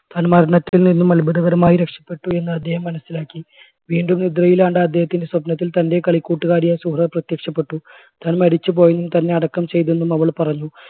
താൻ മരണത്തിൽ നിന്നും അത്ഭുതകരമായി രക്ഷപ്പെട്ടു എന്ന് അദ്ദേഹം മനസ്സിലാക്കി. വീണ്ടും നിദ്രയിലാണ്ട അദ്ദേഹത്തിൻറെ സ്വപ്നത്തിൽ തൻറെ കളിക്കൂട്ടുകാരിയായ സുഹറ പ്രത്യക്ഷപ്പെട്ടു താൻ മരിച്ചുപോയെന്നും തന്നെ അടക്കം ചെയ്തെന്നും അവള് പറഞ്ഞു